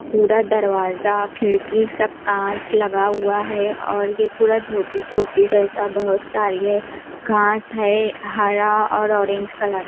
पूरा दरवाजा खिड़की सब कांच लगा हुआ है और ये पूरा जैसा बहोत सारी है घास है हरा और ऑरेंज कलर --